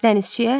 Dənizçiyə?